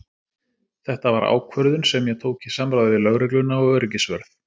Þetta var ákvörðun sem ég tók í samráði við lögregluna og öryggisvörð.